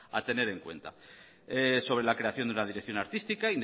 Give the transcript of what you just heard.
a tener en cuenta sobre la creación de una dirección artística